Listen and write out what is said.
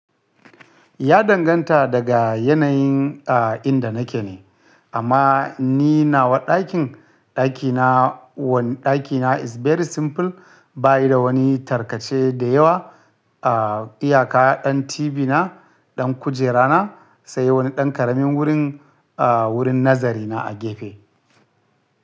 Ya danganta daga yanayin, ah, inda nake ne. Amma ni nawa ɗakin, ɗakina wani ɗakina is very simple. Ba yi da wani tarkace da yawa. Ah, iyaka ɗan TV na, ɗan kujera na sai wani ɗan ƙaramin wurin, ah, wurin nazari na a gefe.